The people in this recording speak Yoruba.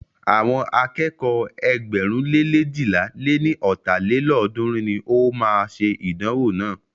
Àwọn akẹ́kọ̀ọ́ ẹgbẹ̀rún le leéjìlá lé ní ọ́ta lélọ́ọ̀dúnrún ní o máa ṣe ìdánwò náà.